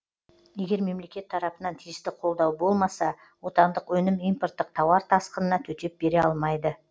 егер мемлекет тарапынан тиісті қолдау болмаса отандық өнім импорттық тауар тасқынына төтеп бере алмайды